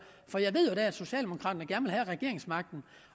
for jeg ved jo at socialdemokraterne gerne vil have regeringsmagten